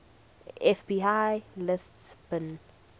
fbi lists bin